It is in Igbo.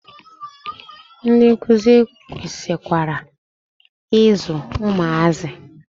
Ndị nkuzi kwesikwara i zụ ụmụazị.